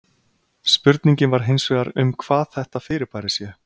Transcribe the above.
Spurningin var hins vegar um hvað þetta fyrirbæri sé.